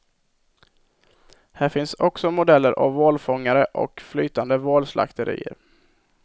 Här finns också modeller av valfångare och flytande valslakterier.